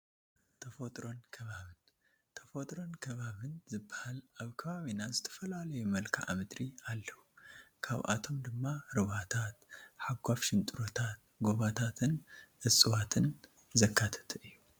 ተፈጥሮን ኣከባብን፡- ተፈጥሮን ኣከባብን ዝባሃል ኣብ ከባቢና ዝተፈላለዩ መልክዓ ምድሪ ኣለው፡፡ ካብኣቶም ድማ ሩባታት፣ ሓጓፍ ሽንጥሮታት፣ ጎቦታትን እፀዋትን ዘካተተ እዩ፡፡